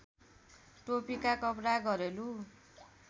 टोपीका कपडा घरेलु